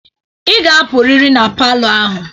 Ị ga-apụrịrị na palọ a.